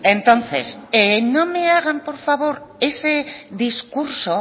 entonces no me hagan por favor ese discurso